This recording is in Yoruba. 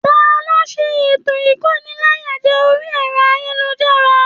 Taló n sé ikóníláyàjẹ̀ orí ẹrọ ayélujára?